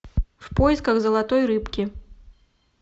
в поисках золотой рыбки